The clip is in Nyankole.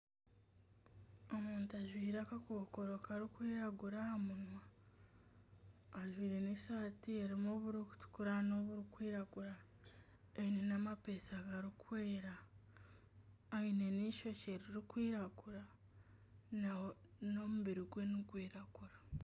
Omuntu ajwaire akakokoro kirikwiragura aha munwa ajwaire nana esaati erimu oburikutukura noburikwiragura aine nana amapeesa garikwera aine nana eishokye ririkwiragura nana omubiri gwe nigwiragura.